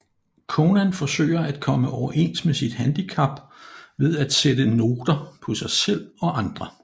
Conan forsøger at komme overens med sit handicap ved at sætte noter på sig selv og andre